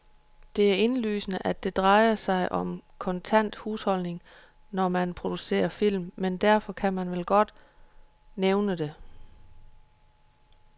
Det er indlysende, at det drejer sig om kontant husholdning, når man procucerer film, men derfor kan man vel godt nævne det.